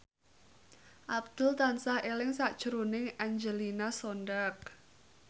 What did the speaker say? Abdul tansah eling sakjroning Angelina Sondakh